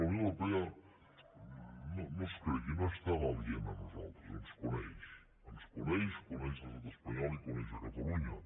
la unió europea no es cregui no és tan aliena a nosaltres ens coneix ens coneix coneix l’estat espanyol i coneix catalunya